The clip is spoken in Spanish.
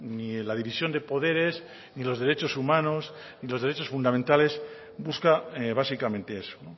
ni la división de poderes ni los derechos humanos ni los derechos fundamentales busca básicamente eso